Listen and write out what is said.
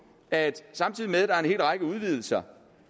at samtidig med at der er en hel række udvidelser